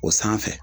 O sanfɛ